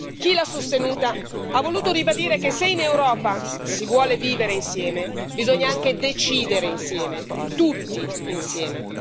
Chi l'ha sostenuta ha voluto ribadire che se in Europa si vuole vivere insieme, bisogna anche decidere insieme, tutti insieme.